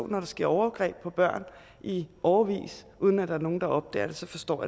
når der sker overgreb på børn i årevis uden at der er nogen der opdager det så forstår